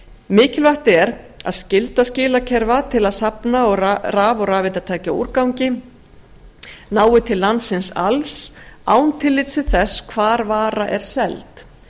mikilvægt er að skylda skilakerfa til að safna raf og rafeindatækjaúrgangi nái til landsins alls án tillits til þess hvar vara er seld